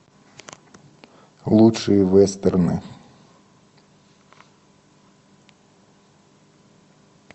лучшие вестерны